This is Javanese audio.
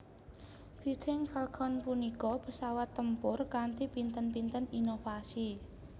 Fighting Falcon punika pesawat tempur kanthi pinten pinten inovasi